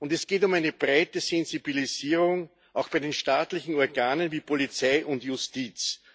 Es geht um eine breite Sensibilisierung auch bei den staatlichen Organen wie Polizei und Justiz.